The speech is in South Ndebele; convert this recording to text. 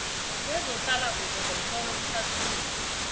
kwezehlalakuhle ngomtlolo uhlathulule